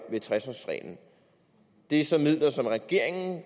det sådan